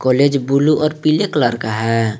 Blaze blue और पीले colour का हैं।